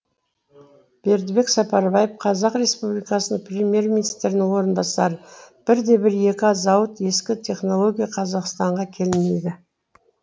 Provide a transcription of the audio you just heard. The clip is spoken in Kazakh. бердібек сапарбаев қазақ республикасының премьер министрінің орынбасары бірде бір ескі зауыт ескі технология қазақстанға келмейді